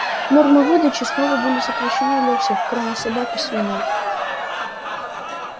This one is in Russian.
нормы выдачи снова были сокращены для всех кроме собак и свиней